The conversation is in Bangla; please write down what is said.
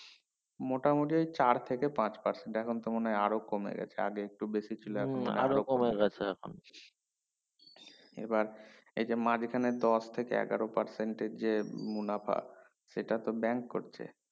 মোটামুটি চার থেকে পাঁচ percent এখন তো মনে হয় আরো কমে গেছে আগে একটু বেশি এই যে মাজখানে দশ থেকে এগারো percent এর যে মুনাফা সেটাতো bank করছে